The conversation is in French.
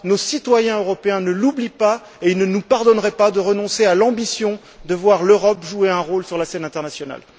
Nos citoyens européens ne l'oublient pas et ils ne nous pardonneraient pas de renoncer à l'ambition de voir l'Europe jouer un rôle sur la scène internationale.